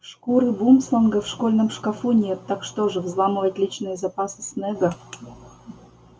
шкуры бумсланга в школьном шкафу нет так что же взламывать личные запасы снегга